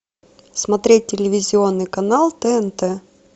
смотреть телевизионный канал тнт